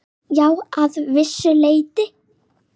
Já, að vissu leyti.